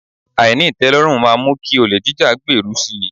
Àìní ìtẹ́lọ́rùn máa mú kí olè jíjá gbèrú si.